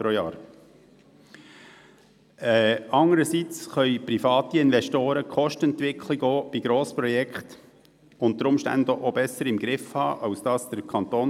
Demgegenüber können private Investoren die Kostenentwicklung bei Grossprojekten unter Umständen besser überschauen als der Kanton.